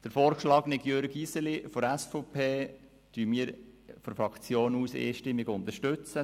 Den vorgeschlagenen Jürg Iseli von der SVP werden wir seitens der Fraktion einstimmig unterstützen.